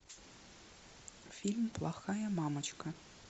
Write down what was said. фильм плохая мамочка